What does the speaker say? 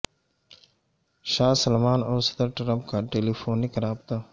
شاہ Salman اور صدر Trump کا ٹیلی فونک رابطہ